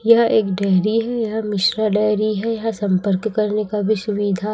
यह एक डायरी है यह मिश्रा डायरी है यह संपर्क करने का भी सुविधा--